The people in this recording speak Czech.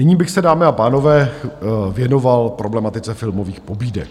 Nyní bych se, dámy a pánové, věnoval problematice filmových pobídek.